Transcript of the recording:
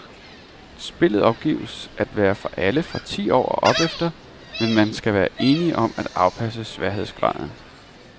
Spillet opgives at være for alle fra ti år og opefter, men man skal være enige om at afpasse sværhedsgraden.